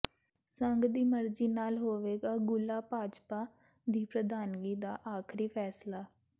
ਸੰਘ ਦੀ ਮਰਜ਼ੀ ਨਾਲ ਹੋਵੇਗਾ ਗੂਹਲਾ ਭਾਜਪਾ ਦੀ ਪ੍ਰਧਾਨਗੀ ਦਾ ਆਖ਼ਰੀ ਫ਼ੈਸਲਾ